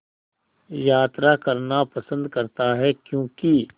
यात्रा करना पसंद करता है क्यों कि